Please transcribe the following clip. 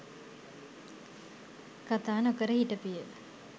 කතා නොකර හිටපිය.